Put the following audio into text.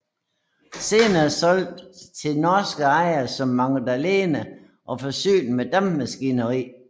Senere solgt til norske ejere som Magdalena og forsynet med dampmaskineri